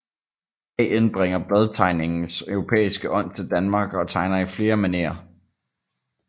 AN bringer bladtegningens europæiske ånd til Danmark og tegner i flere manérer